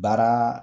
Baara